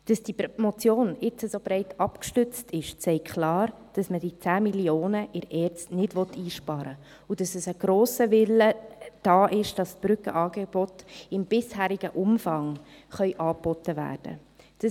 Dass diese Motion jetzt so breit abgestützt ist, zeigt klar, dass man die 10 Mio. Franken in der ERZ nicht einsparen will, und dass ein grosser Wille da ist, dass die Brückenangebote im bisherigen Umfang angeboten werden können.